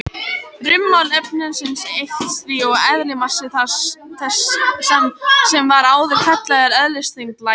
Rúmmál efnisins eykst því og eðlismassi þess, sem var áður kallaður eðlisþyngd, lækkar.